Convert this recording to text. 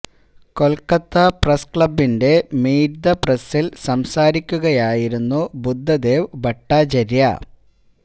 Kolkata press ക്ലബിന്റെ meet the പ്രസില് സംസാരിക്കുകയായിരുന്നു ബുദ്ധദേവ് ഭട്ടാചാര്യ